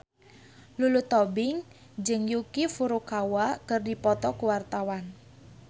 Lulu Tobing jeung Yuki Furukawa keur dipoto ku wartawan